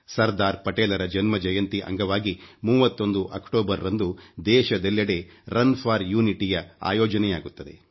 ಸರ್ದಾರ್ ಪಟೇಲ್ ರ ಜನ್ಮ ಜಯಂತಿ ಅಂಗವಾಗಿ 31 ಅಕ್ಟೋಬರ್ ರಂದು ದೇಶದೆಲ್ಲೆಡೆ ರನ್ ಫೋರ್ ಯುನಿಟಿ ಯನ್ನು ಅಯೋಜನೆಯಾಗುತ್ತದೆ